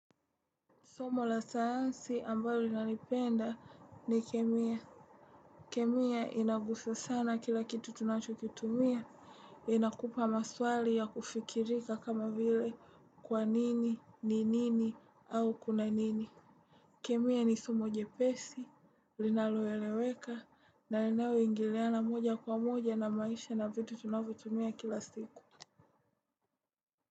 Somo la sayansi ambayo linalipenda ni kemia. Kemia inagusa sana kila kitu tunacho kitumia. Ina kupa maswali ya kufikirika kama vile kwa nini, ni nini, au kuna nini. Kemia ni somo jepesi, linaloeleweka, na linalo ingiliana moja kwa moja na maisha na vitu tunanyo tumia kila siku.